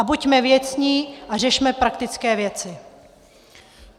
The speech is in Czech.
A buďme věcní a řešme praktické věci.